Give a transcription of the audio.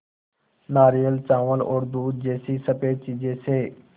नारियल चावल और दूध जैसी स़फेद चीज़ों से